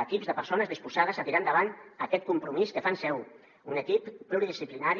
d’equips de persones disposades a tirar endavant aquest compromís que fan seu un equip pluridisciplinari